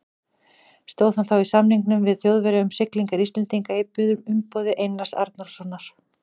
Stóð hann þá í samningum við Þjóðverja um siglingar Íslendinga í umboði Einars Arnórssonar.